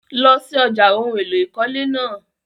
Lọ sí ọ̀já ohun èlò ìkọ́lé náà!